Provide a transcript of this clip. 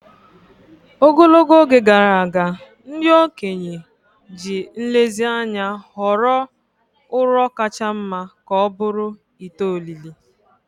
Ogologo oge gara aga, ndị okenye ji nlezianya họrọ ụrọ kacha mma ka ọ bụrụ ite olili.